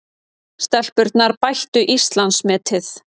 Stelpurnar bættu Íslandsmetið